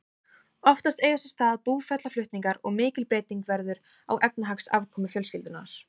Oftast eiga sér stað búferlaflutningar og mikil breyting verður á efnahagsafkomu fjölskyldunnar.